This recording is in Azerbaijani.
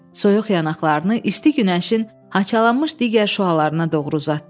Soyuq yanaqlarını isti günəşin haçalanmış digər şüalarına doğru uzatdı.